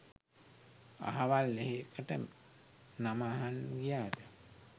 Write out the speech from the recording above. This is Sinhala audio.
අහවල් එහෙකට නම අහන්න ගියාද